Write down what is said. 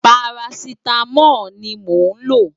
Párásitámól ni mó n ló